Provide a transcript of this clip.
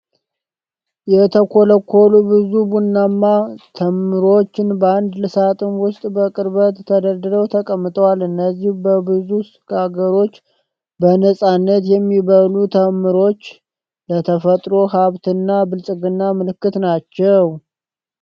የተኮለኮሉ ብዙ ቡናማ ተምሮች በአንድ ሳጥን ውስጥ በቅርበት ተደርድረው ተቀምጠዋል። እነዚህ በብዙ አገሮች በነጻነት የሚበሉ ተምሮች ለተፈጥሮ ሐብትና ብልጽግና ምልክት ናቸው።